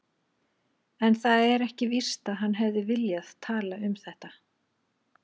En það er ekki víst að hann hefði viljað tala um þetta.